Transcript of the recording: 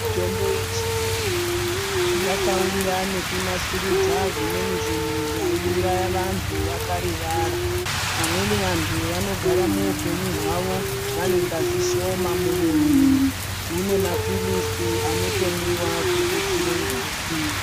Mitombo ye chiyungu yakauya neku nasurudza zvimweni zvinhu zvai uraya vantu vaka rivara vamweni vantu vanogara muhu penyu hwavo vane ngazi shoma mu muviri kune ma pilizi anoto mwiwa ku tutsire ngazi.